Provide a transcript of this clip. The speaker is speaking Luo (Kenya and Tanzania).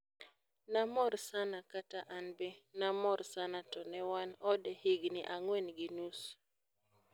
nomor sana kata anbe namor sana to newan ode higni ang'wen gi nusu.